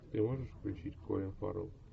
ты можешь включить колин фаррелл